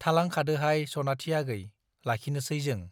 थालांखादोहाय सनाथि आगै , लाखिनोसै जों ।